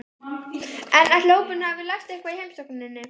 En ætli hópurinn hafi lært eitthvað í heimsókninni?